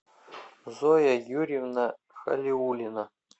зоя юрьевна халиуллина